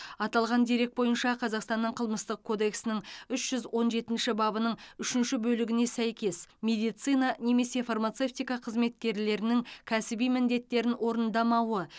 аталған дерек бойынша қазақстанның қылмыстық кодексінің үш жүз он жетінші бабының үшінші бөлігіне сәйкес медицина немесе фармацевтика қызметкерлерінің кәсіби міндеттерін орындамауы